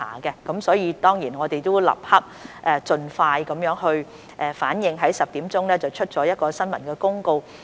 我們當然亦立即盡快作出反應，在今早10時發出了新聞公告。